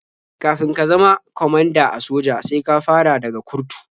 Kafin ka zama kwamanda a soja sai ka fara daga kurtu.